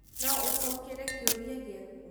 No ũcokere kĩũria gĩaku?